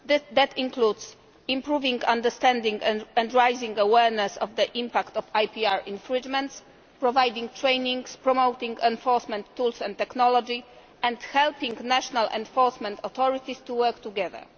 That includes improving understanding and raising awareness of the impact of IPR infringements, providing training, promoting enforcement tools and technology, and helping national enforcement authorities to work together.